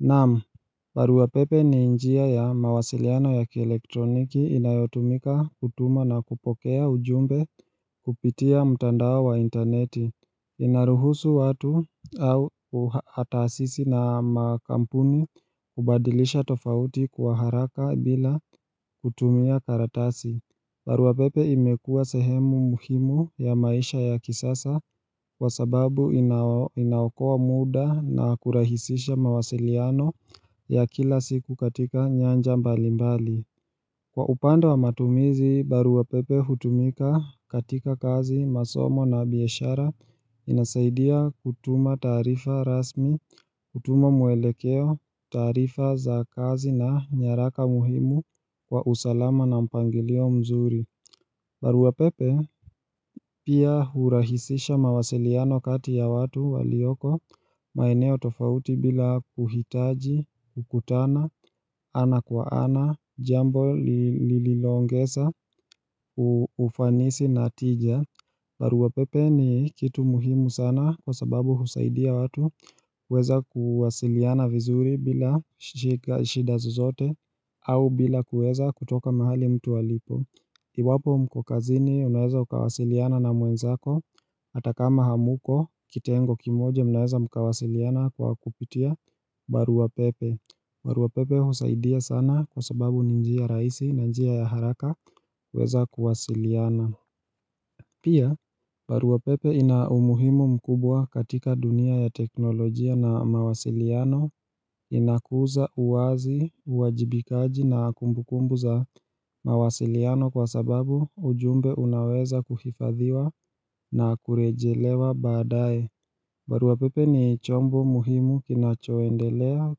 Naam, baruapepe ni njia ya mawasiliano ya kielektroniki inayotumika kutuma na kupokea ujumbe kupitia mtandao wa interneti inaruhusu watu au taasisi na makampuni kubadilisha tofauti kwa haraka bila kutumia karatasi baruapepe imekuwa sehemu muhimu ya maisha ya kisasa kwa sababu inaokoa muda na kurahisisha mawasiliano ya kila siku katika nyanja mbalimbali. Kwa upande wa matumizi, baruapepe hutumika katika kazi masomo na biashara inasaidia kutuma taarifa rasmi, kutuma mwelekeo, taarifa za kazi na nyaraka muhimu kwa usalama na mpangilio mzuri. Baruapepe pia hurahisisha mawasiliano kati ya watu walioko maeneo tofauti bila kuhitaji, kukutana, ana kwa ana, jambo lililoongeza, ufanisi na tija baruapepe ni kitu muhimu sana kwa sababu husaidia watu kuweza kuwasiliana vizuri bila shida zozote au bila kuweza kutoka mahali mtu alipo Iwapo mko kazini unaweza ukawasiliana na mwenzako hata kama hamuko kitengo kimoja mnaweza mkawasiliana kwa kupitia barua pepe barua pepe husaidia sana kwa sababu ni njia rahisi na njia ya haraka kuweza kuwasiliana Pia barua pepe ina umuhimu mkubwa katika dunia ya teknolojia na mawasiliano inakuza uwazi uwajibikaji na kumbukumbu za mawasiliano kwa sababu ujumbe unaweza kuhifadhiwa na kurejelewa baadae barua pepe ni chombo muhimu kinachoendelea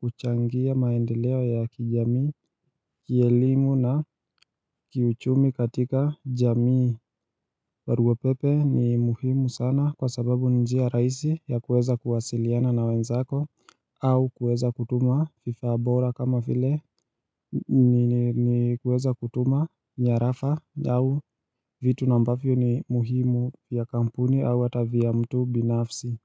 kuchangia maendeleo ya kijamii, kielimu na kiuchumi katika jamii barua pepe ni muhimu sana kwa sababu ni njia rahisi ya kuweza kuwasiliana na wenzako au kuweza kutuma vifaa bora kama vile ni kuweza kutuma nyarafa au vitu na ambavyo ni muhimu ya kampuni au hata vya mtu binafsi.